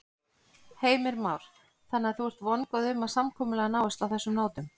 Heimir Már: Þannig að þú ert vongóð um að samkomulag náist á þessum nótum?